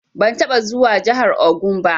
Ban taɓa zuwa jihar Ogun ba.